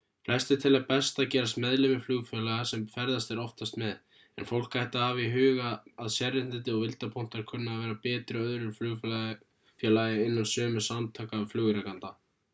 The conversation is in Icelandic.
flestir telja best að gerast meðlimir flugfélaga sem ferðast er oftast með en fólk ætti að hafa í huga að sérréttindi og vildarpunktar kunna að vera betri hjá öðru flugfélagi innan sömu samtaka flugrekenda